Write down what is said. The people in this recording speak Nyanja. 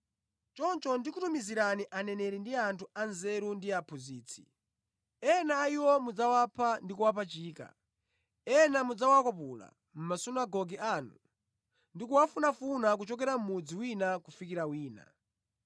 Choncho ndi kutumizirani aneneri ndi anthu anzeru ndi aphunzitsi. Ena a iwo mudzawapha ndi kuwapachika; ena mudzawakwapula mʼmasunagoge anu ndi kuwafunafuna kuchokera mudzi wina kufikira wina.